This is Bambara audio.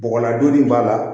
Bɔgɔladonni b'a la